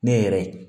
Ne yɛrɛ ye